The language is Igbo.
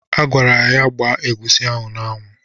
A gwara ya ka ọ gba egusi ahụ n'anwụ.